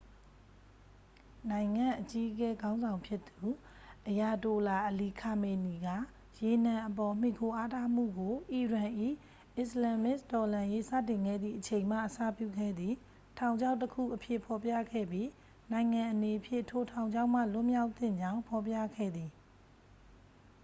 """နိုင်ငံ့အကြီးအကဲခေါင်းဆောင်ဖြစ်သူ အယာတိုလာ အလီ ခါမေနီက ရေနံအပေါ် မှီခိုအားထားမှုကို အီရန်၏ အစ္စလာမ္မစ်တော်လှန်ရေးစတင်ခဲ့သည့်အချိန်မှ အစပြုခဲ့သည့် "ထောင်ချောက်တစ်ခု""အဖြစ် ဖော်ပြခဲ့ပြီး နိုင်ငံအနေဖြင့် ထိုထောင်ချောက်မှ လွတ်မြောက်သင့်ကြောင်း ဖော်ပြခဲ့သည်။""